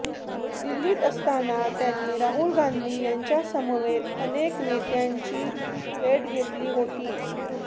दिल्लीत असताना त्यांनी राहुल गांधी यांच्यासमवेत अनेक नेत्यांची भेट घेतली होती